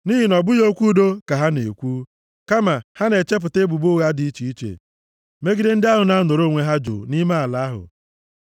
Nʼihi na ọ bụghị okwu udo ka ha na-ekwu, kama ha na-echepụta ebubo ụgha dị iche iche megide ndị ahụ na-anọrọ onwe ha jụụ nʼime ala ahụ.